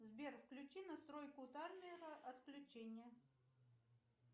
сбер включи настройку таймера отключения